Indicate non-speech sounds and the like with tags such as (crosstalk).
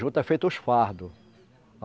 Juta é feito os fardos. (unintelligible)